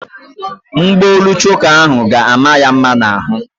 Mgbaolu choka ahụ ga-ama ya mma n'ahụ.